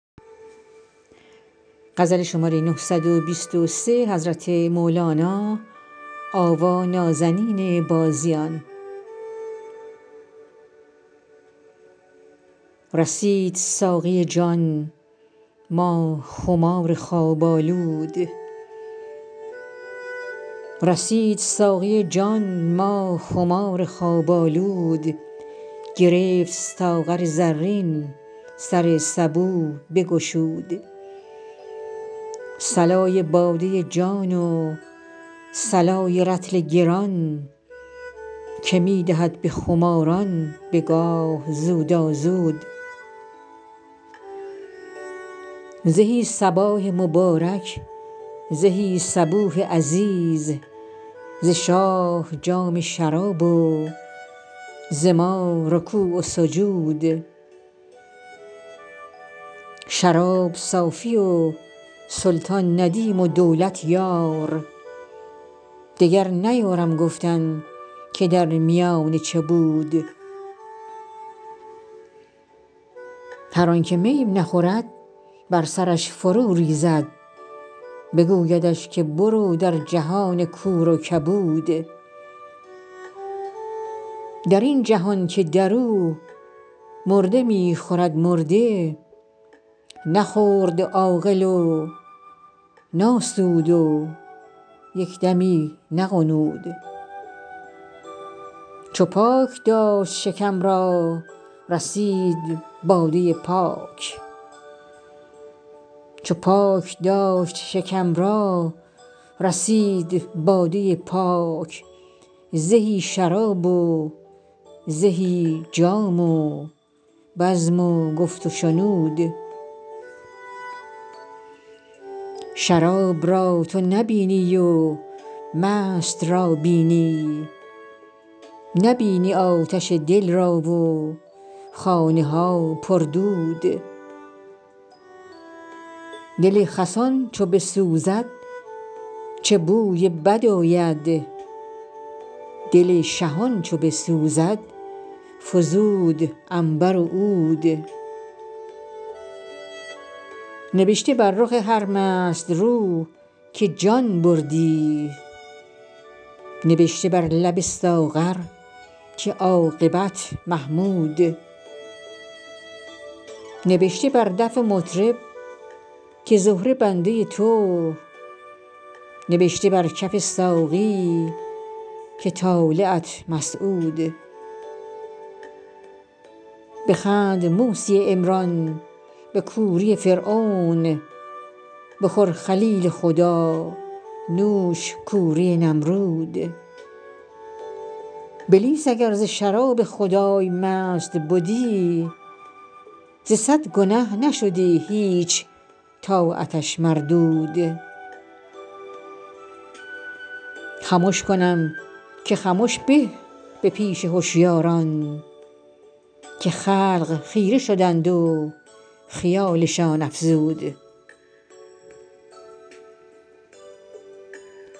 رسید ساقی جان ما خمار خواب آلود گرفت ساغر زرین سر سبو بگشود صلای باده جان و صلای رطل گران که می دهد به خماران به گاه زودازود زهی صباح مبارک زهی صبوح عزیز ز شاه جام شراب و ز ما رکوع و سجود شراب صافی و سلطان ندیم و دولت یار دگر نیارم گفتن که در میانه چه بود هر آنک می نخورد بر سرش فروریزد بگویدش که برو در جهان کور و کبود در این جهان که در او مرده می خورد مرده نخورد عاقل و ناسود و یک دمی نغنود چو پاک داشت شکم را رسید باده پاک زهی شراب و زهی جام و بزم و گفت و شنود شراب را تو نبینی و مست را بینی نبینی آتش دل را و خانه ها پر دود دل خسان چو بسوزد چه بوی بد آید دل شهان چو بسوزد فزود عنبر و عود نبشته بر رخ هر مست رو که جان بردی نبشته بر لب ساغر که عاقبت محمود نبشته بر دف مطرب که زهره بنده تو نبشته بر کف ساقی که طالعت مسعود بخند موسی عمران به کوری فرعون بخور خلیل خدا نوش کوری نمرود بلیس اگر ز شراب خدای مست بدی ز صد گنه نشدی هیچ طاعتش مردود خمش کنم که خمش به به پیش هشیاران که خلق خیره شدند و خیالشان افزود